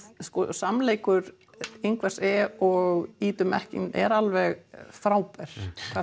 samleikur Ingvars e og Ídu er alveg frábær